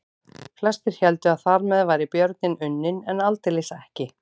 Flestir héldu að þar með væri björninn unninn en aldeilis ekki.